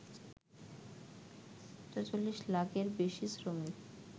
৪৪ লাখের বেশি শ্রমিক